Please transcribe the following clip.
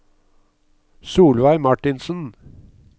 Solveig Marthinsen